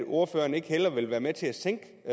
ordføreren ikke hellere vil være med til at sænke